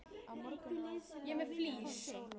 Er einhver lið sem að vilja fá þig?